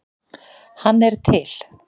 hann til.